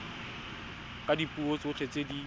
ka dipuo tsotlhe tse di